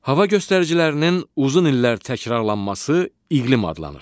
Hava göstəricilərinin uzun illər təkrarlanması iqlim adlanır.